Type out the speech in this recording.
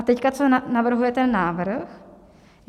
A teď co navrhuje ten návrh.